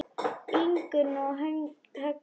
Ingunn og Högni.